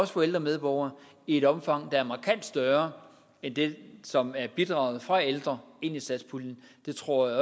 for ældre medborgere i et omfang der er markant større end det som er bidraget fra ældre ind i satspuljen jeg tror at